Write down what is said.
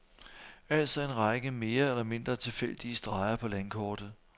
Altså en række mere eller mindre tilfældige streger på landkortet.